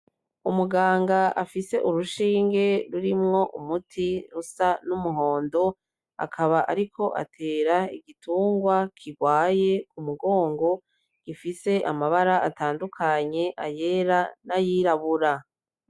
Umuganga afise urushinge rurimwo umuti rusa n'umuhondo akaba ariko atera igitungwa kirwaye ku mugongo, gifise amabara atandukanye, ayera n'ayirabura.